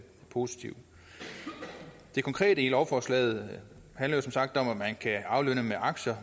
positivt det konkrete i lovforslaget handler som sagt om at man kan aflønne med aktier